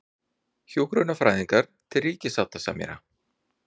Hjúkrunarfræðingar til ríkissáttasemjara